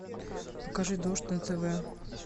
покажи дождь на тв